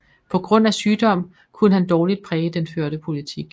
På grund af sygdom kunne han dårligt præge den førte politik